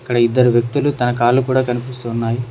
అక్కడ ఇద్దరు వ్యక్తిలు తన కాళ్ళు కూడా కనిపిస్తున్నాయి.